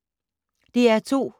DR2